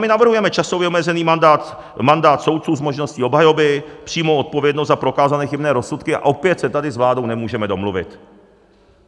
My navrhujeme časově omezený mandát, mandát soudců s možností obhajoby, přímou odpovědnost za prokázané chybné rozsudky - a opět se tady s vládou nemůžeme domluvit.